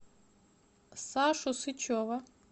сашу сычева